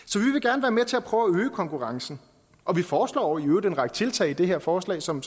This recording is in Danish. så prøve at øge konkurrencen og vi foreslår i øvrigt en række tiltag i det her forslag som